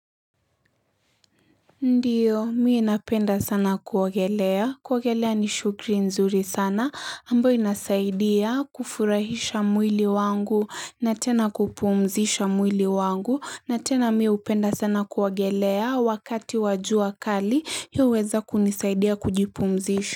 Ndio, mi napenda sana kuogelea. Kuogelea ni shukri nzuri sana. Ambayo inasaidia kufurahisha mwili wangu na tena kupumzisha mwili wangu. Na tena mi hupenda sana kuogelea wakati wa jua kali hii huweza kunisaidia kujipumzisha.